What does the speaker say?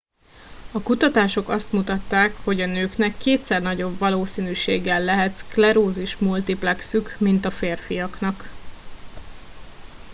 a kutatások azt mutatták hogy a nőknek kétszer nagyobb valószínűséggel lehet szklerózis multiplexük mint a férfiaknak